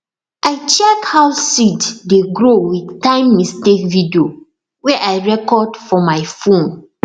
i check how seed dey grow with timemistake video wey i record for my phone